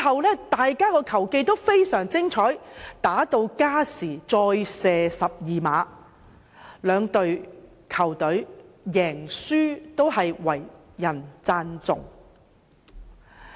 兩隊的球技都十分精湛，踢至加時再射12碼，不論贏輸也為人稱頌。